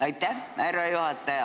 Aitäh, härra juhataja!